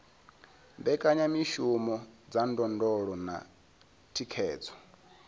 mbekanyamishumo dza ndondolo na thikhedzo